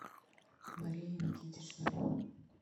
мария никитична